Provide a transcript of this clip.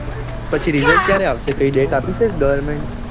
પછી result ક્યારે આવશે કઈ date આપી છે government એ